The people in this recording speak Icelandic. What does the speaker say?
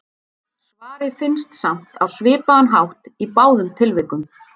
Svarið finnst samt á svipaðan hátt í báðum tilvikum.